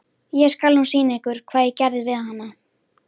Ég skal nú sýna ykkur hvað ég geri við hana!